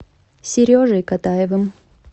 сережей катаевым